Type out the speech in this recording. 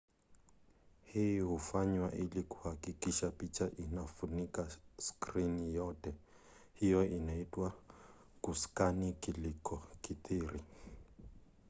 hii hufanywa ili kuhakikisha picha inafunika skrini yote. hiyo inaitwa kuskani kulikokithiri